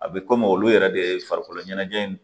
A bɛ komi olu yɛrɛ de ye farikolo ɲɛnajɛ in ye